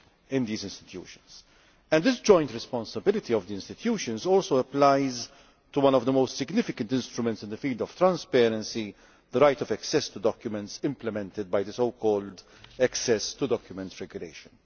in these institutions. This joint responsibility of the institutions also applies to one of the most significant instruments in the field of transparency the right of access to documents implemented by the so called Access to Documents' Regulation.